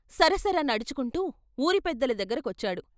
సర సర నడుచుకుంటూ వూరి పెద్దల దగ్గర కొచ్చాడు.